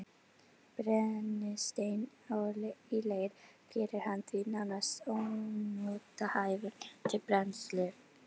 Brennisteinn í leir gerir hann því nánast ónothæfan til brennslu.